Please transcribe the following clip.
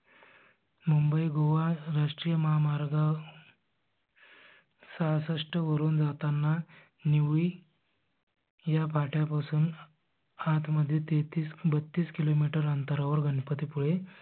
मुंबई गोवा रास्त्रिय महामार्ग सासस्ट वरुन जाताना निवळी ह्या फाट्यापासून आत मध्ये तेत्तीस बत्तीस किलो मीटर अंतरावर गणपती पुळे